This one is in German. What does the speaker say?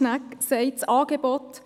Schnegg für sein Votum.